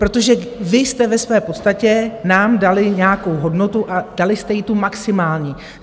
Protože vy jste ve své podstatě nám dali nějakou hodnotu a dali jste ji tu maximální.